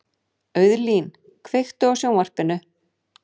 Auðlín, kveiktu á sjónvarpinu.